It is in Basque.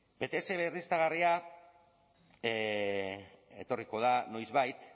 pts berriztagarria etorriko da noizbait